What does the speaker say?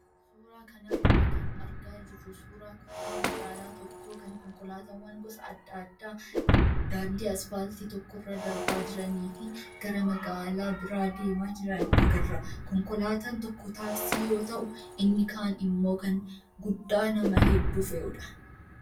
Suuraa kanarraa kan argaa jirru suuraa kutaa magaalaa tokkoo kan konkolaataawwan gosa adda addaa daandii asfaaltii tokkorra darbaa jiranii fi gara magaalaa biraa deemaa jiran agarra. Konkolaataan tokko taaksii yoo ta'u, inni kaan immoo kan guddaa nama hedduu fe'udha.